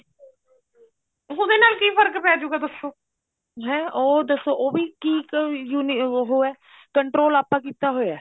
ਉਹਦੇ ਨਾਲ ਕੀ ਫਰਕ ਪੈਜੁਗਾ ਦੱਸੋ ਹੈ ਉਹ ਦੱਸੋ ਉਹ ਵੀ ਕੀ ਯੂਨੀ ਉਹ ਹੈ control ਆਪਾਂ ਕੀਤਾ ਹੋਇਆ